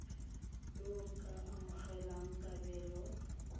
yo o ka amogelang kabelo